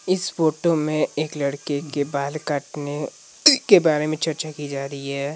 इस फोटो में एक लड़के के बाल काटने के बारे में चर्चा की जा रही है।